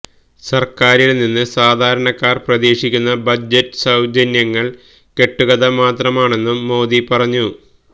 സര്ക്കാരില് നിന്ന് സാധാരണക്കാര് പ്രതീക്ഷിക്കുന്ന ബജറ്റ് സൌജന്യങ്ങള് കെട്ടുകഥ മാത്രമാണെന്നും മോദി പറഞ്ഞു